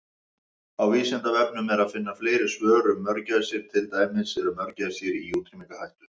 Á Vísindavefnum er að finna fleiri svör um mörgæsir, til dæmis: Eru mörgæsir í útrýmingarhættu?